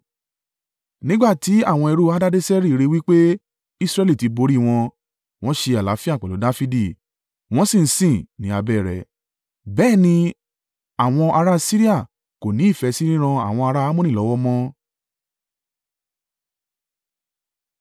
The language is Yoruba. Nígbà tí àwọn ẹrú Hadadeseri rí i wí pé Israẹli ti borí wọn, wọ́n ṣe àlàáfíà pẹ̀lú Dafidi, wọ́n sì ń sìn ní abẹ́ ẹ rẹ̀. Bẹ́ẹ̀ ni, àwọn ará Siria kò ní ìfẹ́ sí ríran àwọn ará Ammoni lọ́wọ́ mọ́.